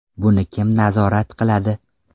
Buni kim nazorat qiladi?